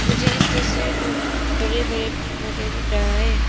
मुझे इस तस्वीर में बड़े बड़े पेड़ पौधे दिख रहा है।